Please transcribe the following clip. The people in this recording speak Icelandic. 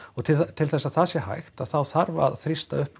til þess að það sé hægt þá þarf að þrýsta upp